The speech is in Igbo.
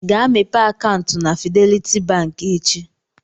Gaa mepee bank akaụntụ na Fidelity bank echi.